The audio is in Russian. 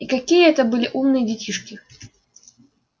и какие это были умные детишки